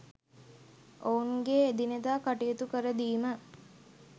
ඔවුන්ගේ එදිනෙදා කටයුතු කරදීම